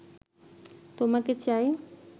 তোমাকে চাই